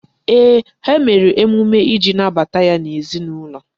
Ee, ha mere emume iji nabata ya n'ezinaụlọ.